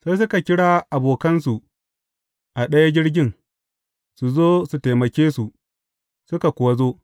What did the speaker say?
Sai suka kira abokansu a ɗaya jirgin, su zo su taimake su, suka kuwa zo.